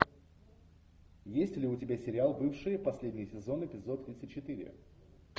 есть ли у тебя сериал бывшие последний сезон эпизод тридцать четыре